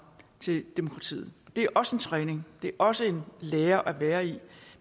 til demokratiet det er også en træning det er også en lære at være i